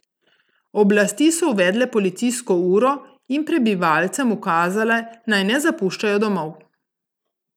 Oblasti so uvedle policijsko uro in prebivalcem ukazale, naj ne zapuščajo domov.